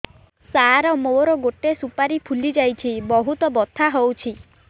ସାର ମୋର ଗୋଟେ ସୁପାରୀ ଫୁଲିଯାଇଛି ବହୁତ ବଥା ହଉଛି